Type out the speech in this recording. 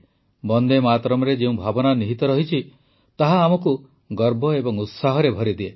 ବନ୍ଦେ ମାତରମର ଯେଉଁ ଭାବନା ନିହିତ ରହିଛି ତାହା ଆମକୁ ଗର୍ବ ଏବଂ ଉତ୍ସାହରେ ଭରିଦିଏ